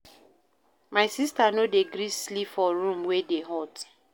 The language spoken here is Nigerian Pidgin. My sista no dey gree sleep for room wey dey hot.